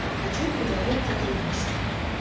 а хочу предложить сотрудничество